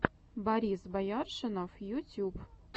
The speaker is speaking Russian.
борис бояршинов ютюб